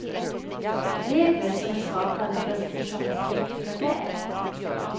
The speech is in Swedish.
Regler som är skapade för att orsaka präktiga gräl.